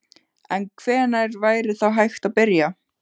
En hvenær væri þá hægt að byrja?